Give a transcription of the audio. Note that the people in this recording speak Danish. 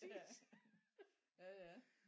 Ja ja ja